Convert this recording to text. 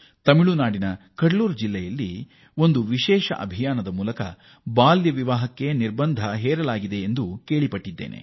ತಮಿಳುನಾಡಿನ ಕುಡಲೂರು ಜಿಲ್ಲೆಯ ವಿಶೇಷ ಅಭಿಯಾನದ ಮೂಲಕ ಬಾಲ್ಯ ವಿವಾಹ ನಿಷೇಧಿಸಲಾಗಿದೆ ಎಂದು ನಾನು ಕೇಳಿದ್ದೇನೆ